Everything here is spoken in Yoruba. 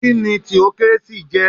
Kíni theocracy jẹ̀?